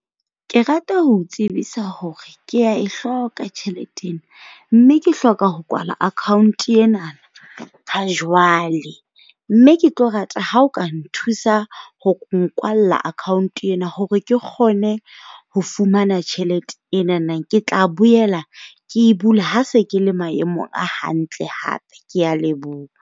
Ke rata ho o tsebisa hore kea e hloka tjhelete ena, mme ke hloka ho kwala account enana ha jwale. Mme ke tlo rata ha o ka nthusa ho nkwalla account ena hore ke kgone ho fumana tjhelete enana. Ke tla boela ke e bula ha se ke le maemong a hantle hape, kea leboha.